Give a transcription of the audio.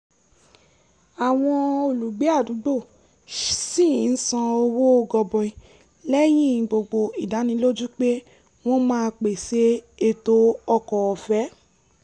àwọn olùgbé àdúgbò ṣì ń san owó gọbọi lẹ́yìn gbogbo ìdánilójú pé wọ́n máa pèsè ètò ọkọ̀ ọ̀fẹ́